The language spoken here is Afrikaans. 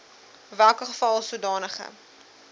welke geval sodanige